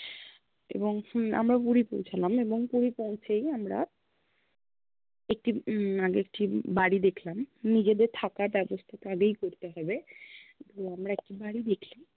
এবং হম আমরা পুরি পৌঁছালাম এবং পুরি পৌঁছেই আমরা একটি উম আগে একটি বাড়ি দেখ্লাম, নিজেদের থাকার ব্য়ব্স্থা আগেই করতে হবে তো, আমরা একটি বাড়ি দেখ্লাম